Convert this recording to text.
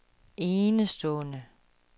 enestående